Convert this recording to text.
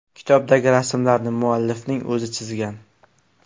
Kitobdagi rasmlarni muallifning o‘zi chizgan.